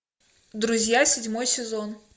друзья седьмой сезон